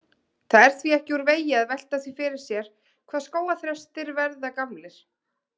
Það er því ekki úr vegi að velta því fyrir sér hvað skógarþrestir verða gamlir.